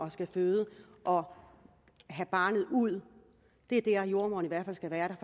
at skulle føde og have barnet ud det er der jordemoderen i hvert fald skal være